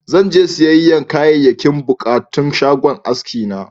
Zan je siyayyan Kayayyakin buƙatun shagon aski na.